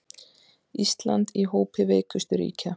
Ísland í hópi veikustu ríkja